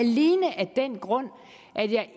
den grund at jeg